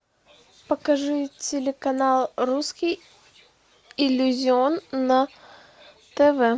покажи телеканал русский иллюзион на тв